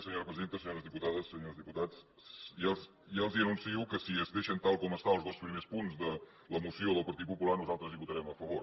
senyores diputades senyors diputats ja els anuncio que si es deixen tal com estan els dos primers punts de la moció del partit popular nosaltres hi votarem a favor